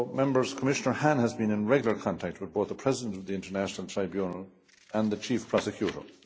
Commissioner Hahn has been in regular contact with both the President of the International Tribunal and the chief prosecutor.